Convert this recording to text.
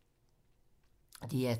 DR2